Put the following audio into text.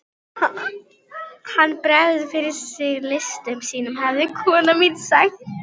Ég ætlaði einmitt að fara að hringja í þig.